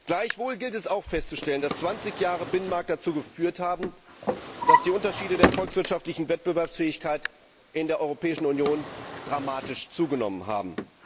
Gleichwohl gilt es auch festzustellen, dass zwanzig Jahre Binnenmarkt dazu geführt haben, dass die Unterschiede der volkswirtschaftlichen Wettbewerbsfähigkeit in der Europäischen Union dramatisch zugenommen haben.